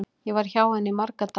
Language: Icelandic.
Ég var hjá henni í marga daga.